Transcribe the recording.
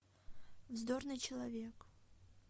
вздорный человек